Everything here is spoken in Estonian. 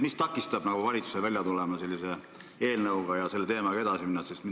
Mis takistab valitsust välja tulemast sellise eelnõuga ja selle teemaga edasi minemast?